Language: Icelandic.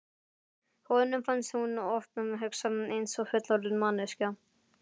Honum fannst hún oft hugsa eins og fullorðin manneskja.